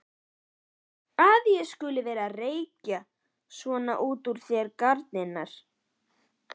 Að ég skuli vera að rekja svona úr þér garnirnar!